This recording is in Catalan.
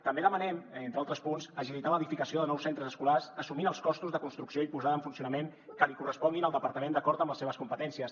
també demanem entre altres punts agilitar l’edificació de nous centres escolars assumint els costos de construcció i posada en funcionament que li corresponguin al departament d’acord amb les seves competències